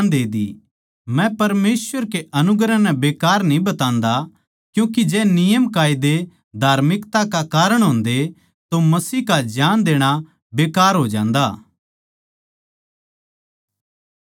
मै परमेसवर कै अनुग्रह नै बेकार न्ही बतान्दा क्यूँके जै नियमकायदे धार्मिकता का कारण होन्दे तो मसीह का जान देणा बेकार हो जान्दा